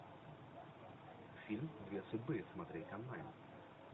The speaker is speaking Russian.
фильм две судьбы смотреть онлайн